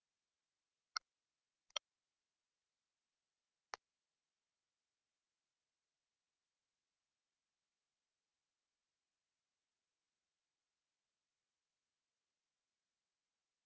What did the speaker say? балалар өздерінің ішкі потенциалдарын нығайту үшін келеді